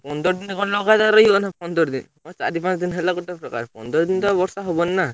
ପନ୍ଦର ଦିନ ଖଣ୍ଡେ ଲଗାତର ରହିବ ନା ପନ୍ଦର ଦିନ ହଁ ଚାରି ପାଞ୍ଚ ଦିନ ହେଲା ଗୋଟେ ପ୍ରକାର ପନ୍ଦର ଦିନ ତ ଆଉ ବର୍ଷା ହବନି ନା।